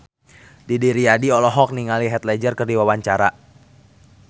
Didi Riyadi olohok ningali Heath Ledger keur diwawancara